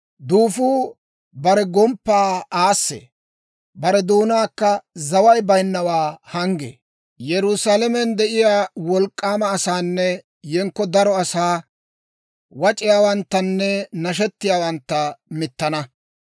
Duufuu bare gomppaa aassee; bare doonaakka zaway bayinnawaa hanggee; Yerusaalamen de'iyaa wolk'k'aama asaanne yenkko daro asaa, wac'iyaawanttanne nashetiyaawantta mittana.